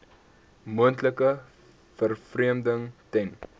moontlike vervreemding ten